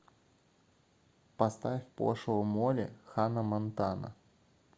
поставь пошлую молли ханнамонтана